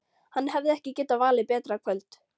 Hann hefði ekki getað valið betra kvöld.